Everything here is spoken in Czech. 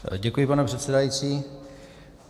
Děkuji, pane předsedající.